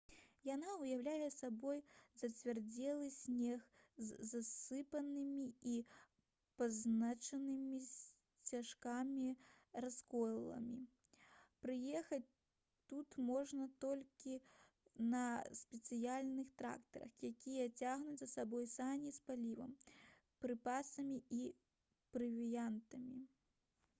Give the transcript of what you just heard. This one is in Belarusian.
яна ўяўляе сабой зацвярдзелы снег з засыпанымі і пазначанымі сцяжкамі расколінамі праехаць тут можна толькі на спецыяльных трактарах якія цягнуць за сабой сані з палівам прыпасамі і правіянтам